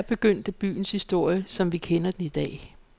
Her begyndte byens historie, som vi kender den i dag.